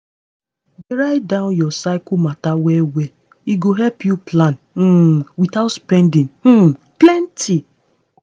dey write down your cycle matter well well e go help you plan um without spending um plenty.